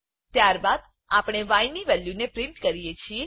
ત્યારબાદ આપણે yની વેલ્યુ ને પ્રિન્ટ કરીએ છીએ